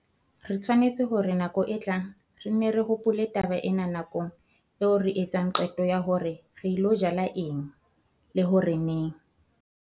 Re tshwanetse hore nakong e tlang re nne re hopole taba ena nakong eo re etsang qeto ya hore re ilo jala eng, le hore neng.